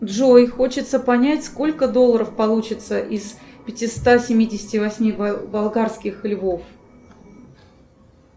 джой хочется понять сколько долларов получится из пятиста семидесяти восьми болгарских львов